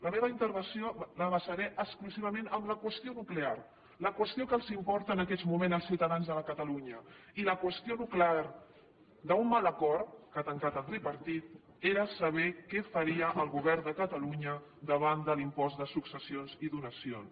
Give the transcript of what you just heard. la meva intervenció la basaré exclusivament en la qüestió nuclear la qüestió que importa en aquests moments els ciutadans de catalunya i la qüestió nuclear d’un mal acord que ha tancat el tripartit era saber què faria el govern de catalunya davant de l’impost de successions i donacions